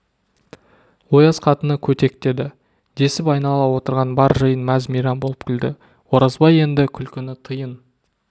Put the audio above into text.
ояз қатыны көтек деді десіп айнала отырған бар жиын мәз-мейрам болып күлді оразбай енді күлкіні тыйын